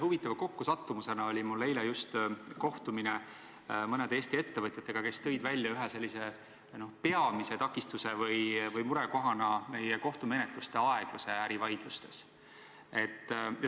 Huvitava kokkusattumisena oli mul just eile kohtumine mõnede Eesti ettevõtjatega, kes tõid ühe peamise takistuse või murekohana välja meie kohtumenetluste aegluse ärivaidlustes.